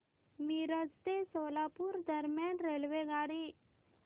मिरज ते सोलापूर दरम्यान रेल्वेगाडी